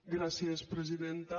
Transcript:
gràcies presidenta